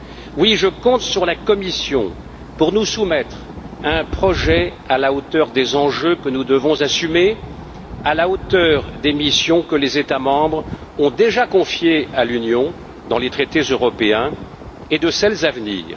Oui, je compte sur la Commission pour nous soumettre un projet à la hauteur des enjeux que nous devons assumer, à la hauteur des missions que les États membres ont déjà confiées à l'Union européenne dans les traités européens, et de celles à venir.